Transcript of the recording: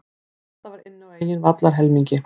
Þetta var inn á eigin vallarhelmingi.